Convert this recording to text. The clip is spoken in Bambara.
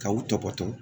Ka u tɔbɔtɔ